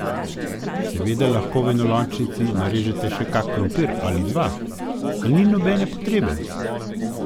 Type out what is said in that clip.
Seveda lahko v enolončnico narežete še kak krompir ali dva, a ni nobene potrebe.